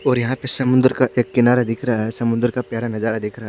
और यहाँ पर समुन्दर का किनारा दिख रहा है समुन्दर का प्यारा नज़ारा दिख रहा है।